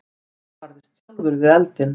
Einar barðist sjálfur við eldinn.